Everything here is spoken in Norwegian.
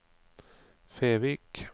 Fevik